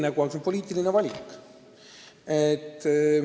Eks see ole poliitiline valik.